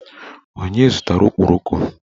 Onye zụtara okporoko?